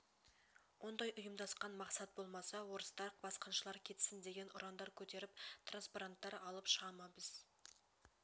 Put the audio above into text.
ондай ұйымдасқан мақсат болмаса орыстар басқыншылар кетсін деген ұрандар көтеріп транспоранттар алып шыға ма біз